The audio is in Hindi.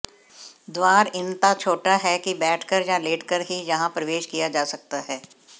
द्वार इनता छोटा है कि बैठकर या लेटकर ही यहां प्रवेश किया जा सकता है